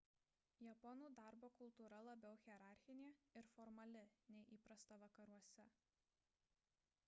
japonų darbo kultūra labiau hierarchinė ir formali nei įprasta vakaruose